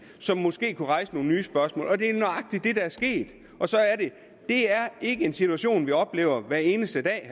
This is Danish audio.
som måske kunne rejse nogle nye spørgsmål og det er nøjagtig det der er sket det er ikke en situation vi oplever hver eneste dag